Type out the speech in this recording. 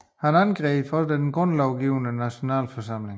Han angreb også den grundlovgivende Nationalforsamling